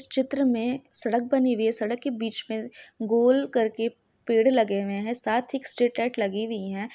इस चित्र मे सड़क बनी हुई हैसड़क के बीच मे गोल करके पेड़ लगे हुए है साथ ही एक स्ट्रीट लाइट लगी हुई हैं।